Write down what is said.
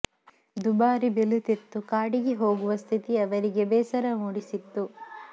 ದುಬಾರಿ ಬೆಲೆ ತೆತ್ತು ಕಾಡಿಗೆ ಹೋಗುವ ಸ್ಥಿತಿ ಅವರಿಗೆ ಬೇಸರ ಮೂಡಿಸಿತ್ತು